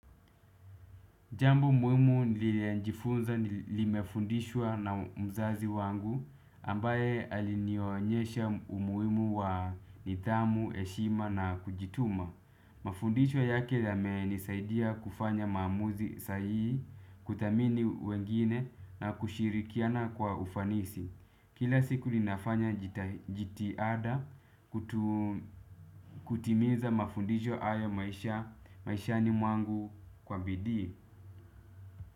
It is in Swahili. Jambu muhimu niliyejifunza nimefundishwa na mzazi wangu ambaye alinionyesha umuhimu wa nidhamu, heshima na kujituma. Mafundisho yake yamenisaidia kufanya maamuzi sahihi, kuthamini wengine na kushirikiana kwa ufanisi. Kila siku ninafanya jitihada kutimiza mafundisho haya maishani mwangu kwa bidii.